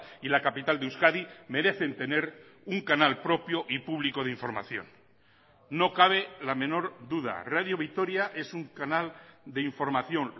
y la capital de euskadi merecen tener un canal propio y público de información no cabe la menor duda radio vitoria es un canal de información